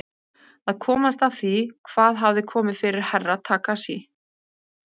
Að komast að því hvað hafði komið fyrir Herra Takashi.